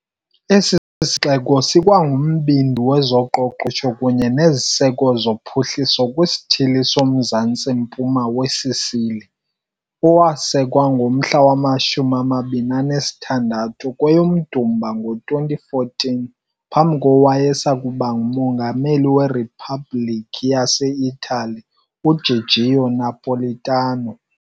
Esi sixeko sikwangumbindi wezoqoqosho kunye neziseko zophuhliso kwiSithili soMzantsi-mpuma weSicily, owasekwa ngomhla wama-26 kweyoMdumba ngo-2014 phambi kowayesakuba nguMongameli weRiphabhliki yase-Itali UGiorgio Napolitano.